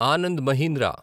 Anand Mahindra